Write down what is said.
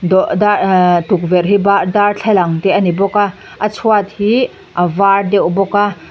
dawh dar ehhh tukverh hi bar darthlalang te a ni bawk a a chhuat hi avar deuh bawk a.